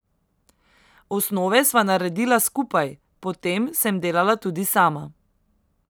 Osnove sva naredila skupaj, potem sem delala tudi sama.